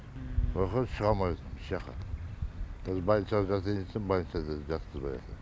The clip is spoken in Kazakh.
ояқа шыға алмай отырмын ешжаққа кәз больницаға жатайын десем больница да жатқызбаятыр